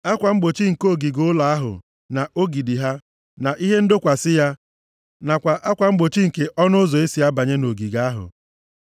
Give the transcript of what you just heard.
Akwa mgbochi nke ogige ụlọ ahụ na ogidi ha, na ihe ndọkwasị ya, nakwa akwa mgbochi nke ọnụ ụzọ e si abanye nʼogige ahụ;